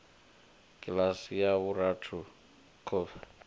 kiḽasi ya vhuraru khuvha o